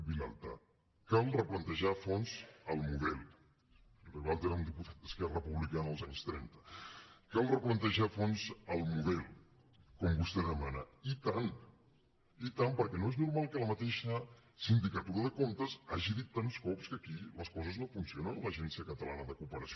vilalta cal replantejar a fons el model ribalta era un diputat d’esquerra republicana als anys trenta com vostè demana i tant i tant perquè no és normal que la mateixa sindicatura de comptes hagi dit tants cops que aquí les coses no funcionen a l’agència catalana de cooperació